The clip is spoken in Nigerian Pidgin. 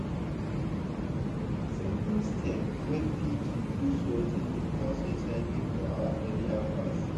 simple steps wey fit reduce watin dey cause hiv for our area fast.